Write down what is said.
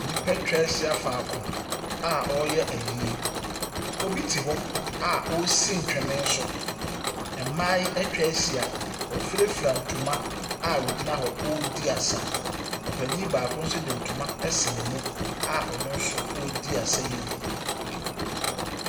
Nnipa atwa ahyia faako a wɔreyɛ ayie. Obi te hɔ a ɔresi ntwene so. Mmaa yi atwa ahyia. Wɔafurafura ntoma a wɔgyin hɔ wɔredi asa. Ɔpanin baako nso de ntoma asi ne mu a ɔno nso redi asa yi bi.